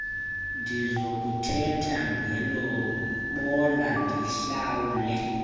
ndizokuthetha ngelobola ndihlawule